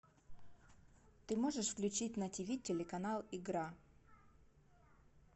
ты можешь включить на тв телеканал игра